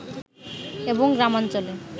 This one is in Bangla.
এবং গ্রামাঞ্চলে